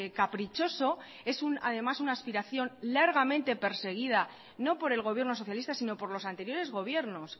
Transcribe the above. caprichoso es además una aspiración largamente perseguida no por el gobierno socialista sino por los anteriores gobiernos